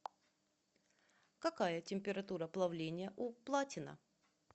какая температура плавления у платина